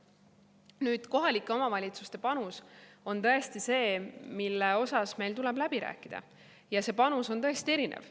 Nüüd, kohalike omavalitsuste panus on tõesti see, mille üle meil tuleb läbi rääkida, ja see panus on tõesti erinev.